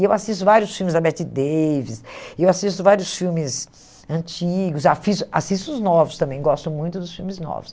E eu assisto vários filmes da Bette Davis, eu assisto vários filmes antigos, assisto assisto os novos também, gosto muito dos filmes novos.